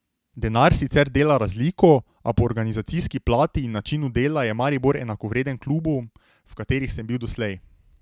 Denar sicer dela razliko, a po organizacijski plati in načinu dela je Maribor enakovreden klubom, v katerih sem bil doslej.